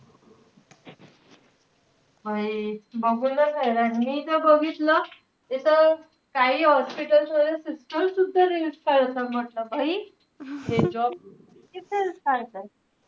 बघूनच हैराण. मी तर बघितलं, तिथं काई hospitals मध्ये sister सुद्धा reels काढता. म्हंटल हे job करताय का reels काढताय.